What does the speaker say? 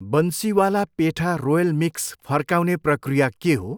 Bansiwala petha royal mix फर्काउने प्रक्रिया के हो?